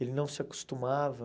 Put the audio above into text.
Ele não se acostumava.